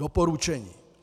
Doporučení.